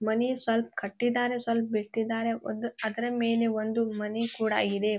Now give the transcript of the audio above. ಮನೆ ಸ್ವಲ್ಪ ಕಟ್ಟಿದ್ದಾರೆ ಸ್ವಲ್ಪ ಬಿಟ್ಟಿದ್ದಾರೆ ಒಂದು ಅದ್ರ ಮೇಲೆ ಒಂದು ಮನೆ ಕೂಡ ಇದೆ --